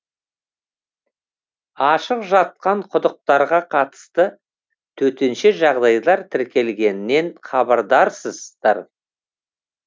ашық жатқан құдықтарға қатысты төтенше жағдайлар тіркелгенінен хабардарсыздар